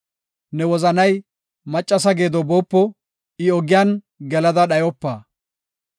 Ne wozanay maccasa geedo boopo; I ogiyan gelada dhayopa.